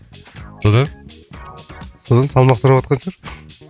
содан содан салмақ сұраватқан шығар